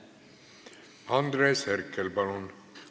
Andres Herkel, palun!